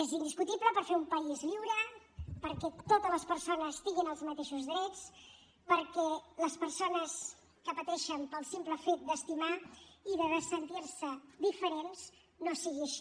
és indiscutible per fer un país lliure perquè totes les persones tinguin els mateixos drets perquè les persones que pateixen pel simple fet d’estimar i de sentir se diferents no sigui així